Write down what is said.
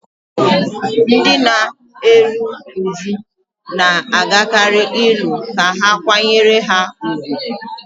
Ndị na-eru uju na-agakarị ili ka ha kwanyere ha ùgwù